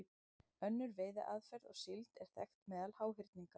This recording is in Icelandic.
Önnur veiðiaðferð á síld er þekkt meðal háhyrninga.